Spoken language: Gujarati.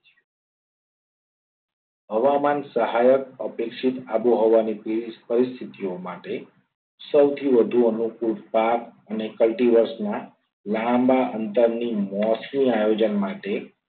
હવામાન સહાયક અપેક્ષિત આબોહવાની પરિસ્થિતિ માટે સૌથી વધુ અનુકૂળ પાક અને કલ્ટી વર્ષના લાંબા અંતરની મોસમી આયોજન માટે